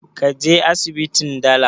Ka je asibitin dala?